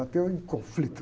Ateu em conflito.